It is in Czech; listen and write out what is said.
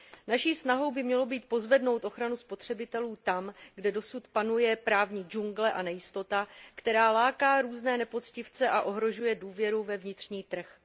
Naší snahou by mělo být pozvednout ochranu spotřebitelů tam, kde dosud panuje právní džungle a nejistota, která láká různé nepoctivce a ohrožuje důvěru ve vnitřní trh.